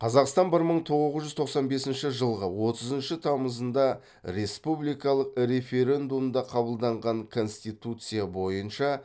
қазақстан бір мың тоғыз жүз тоқсан бесінші жылғы отызыншы тамызында республикалық референдумда қабылданған конституция бойынша